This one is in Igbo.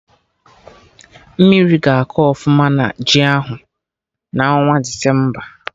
Mmiri ga-akọ ọfụma na ji ahụ n'ọnwa Desemba